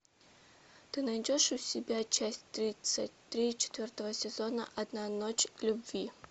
ты найдешь у себя часть тридцать три четвертого сезона одна ночь любви